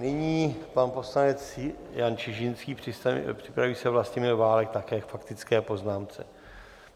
Nyní pan poslanec Jan Čižinský, připraví se Vlastimil Válek, také k faktické poznámce.